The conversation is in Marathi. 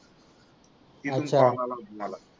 तिथून कॉल आला होता मला